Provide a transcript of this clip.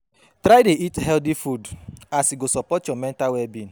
Try dey eat healthy food as e go sopport yur mental well-being